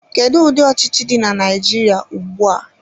Kedu ụdị ọchịchị dị na Naijiria ugbua?